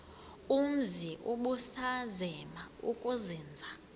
umzi ubusazema ukuzinza